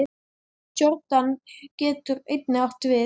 Jórdan getur einnig átt við